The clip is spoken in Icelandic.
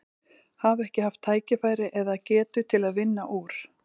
Hafa ekki haft tækifæri eða, eða getu til að vinna úr?